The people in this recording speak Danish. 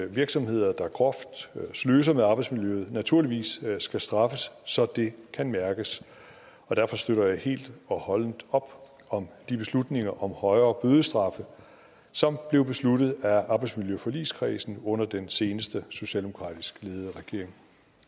virksomheder der groft sløser med arbejdsmiljøet naturligvis skal straffes så det kan mærkes derfor støtter jeg helt og holdent op om de beslutninger om højere bødestraffe som blev besluttet af arbejdsmiljøforligskredsen under den seneste socialdemokratisk ledede regering